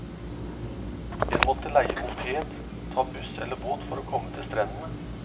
En måtte leie moped, ta buss eller båt for å komme til strendene.